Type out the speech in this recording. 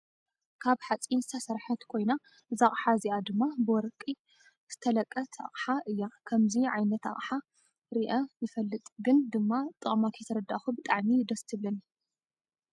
ካብ ሓፂን ዝተሰርሐት ኮይና እዛ ኣቅሓ እዚ ድማ ብወርቀ ዝተለቀት ኣቅሓ እያ ከምዙይ ዓይነት ኣቅሓ ረኣ ይፈልንግን ድማ ጠቅማ ከይተረዳእኩ ብጣዕሚ ደስ ትብለኒ።